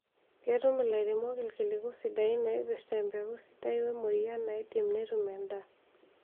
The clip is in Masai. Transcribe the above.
Ketum lairemok irkiliku sidain oipirta empeku sidai oo emoyian naidim netum endaa